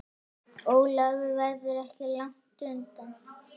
Ólafur verður ekki langt undan.